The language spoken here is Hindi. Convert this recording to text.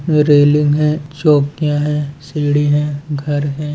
रेलिंग हैं चौकियां हैं सीढ़ी हैं घर हैं।